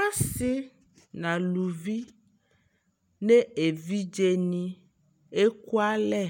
Asi naluvi nevidzeni ekualɛ